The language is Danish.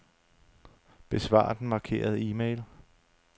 Besvar den markerede e-mail.